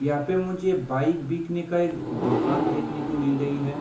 यहाँ पे मुझे बाइक बिकने का एक दोकान देखने को मिल रही है।